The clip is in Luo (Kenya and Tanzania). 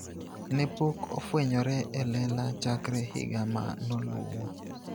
Ne pok ofwenyore e lela chakre higa ma noluwo.